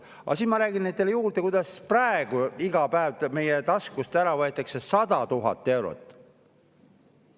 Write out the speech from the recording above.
Aga ma räägin nüüd teile veel sellest, kuidas praegu võetakse iga päev meie taskust ära 100 000 eurot.